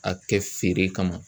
A kɛ feere kama